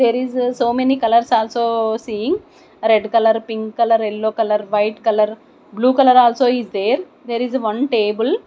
there is so many colours also seeing red colour pink colour yellow colour white colour blue colour also is there there is one table.